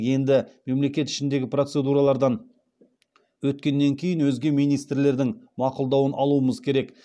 енді мемлекет ішіндегі процедуралардан өткеннен кейін өзге министрліктердің мақұлдауын алуымыз керек